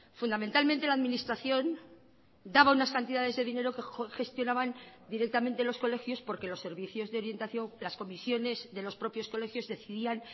fundamentalmente la administración daba unas cantidades de dinero que gestionaban directamente los colegios porque los servicios de orientación las comisiones de los propios colegios decidían